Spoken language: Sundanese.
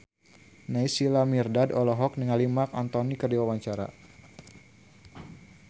Naysila Mirdad olohok ningali Marc Anthony keur diwawancara